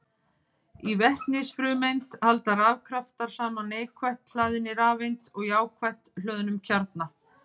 Í vetnisfrumeind halda rafkraftar saman neikvætt hlaðinni rafeind og jákvætt hlöðnum kjarna.